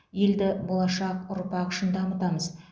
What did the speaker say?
елді болашақ ұрпақ үшін дамытамыз